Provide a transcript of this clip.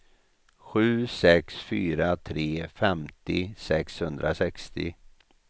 sju sex fyra tre femtio sexhundrasextio